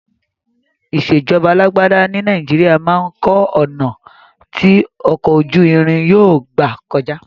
Ìṣèjọba alágbádá ní Nàìjíríà máa kọ́ ọ̀nà ti ọkọ̀ ojú irin yóò gbà kọjá.